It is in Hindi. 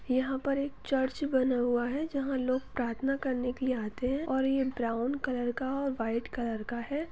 यहाँ पर एक चर्च बना हुआ है जहा लोग प्रार्थना करने के लिए आते है और ये ब्राउन कलर का व्हाइट कलर का है।